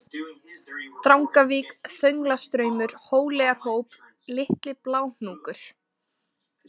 Drangavík, Þönglastraumur, Hóleyjarhóp, Litli-Bláhnúkur